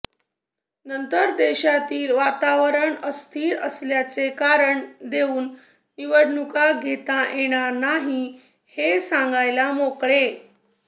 नंतर देशातील वातावरण अस्थिर असल्याचे कारण देऊन निवडणुका घेता येणार नाहीत हे सांगायला मोकळे